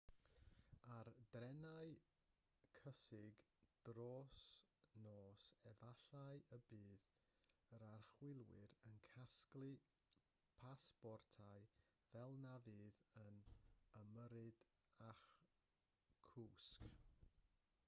ar drenau cysgu dros nos efallai y bydd yr archwiliwr yn casglu pasbortau fel na fydd yn ymyrryd â'ch cwsg